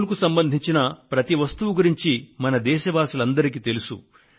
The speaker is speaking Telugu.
అమూల్ కు సంబంధించిన ప్రతి వస్తువు గురించి మన దేశవాసులందరికీ తెలుసు